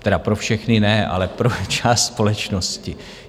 Tedy pro všechny ne, ale pro část společnosti.